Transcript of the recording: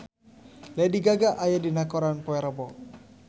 Lady Gaga aya dina koran poe Rebo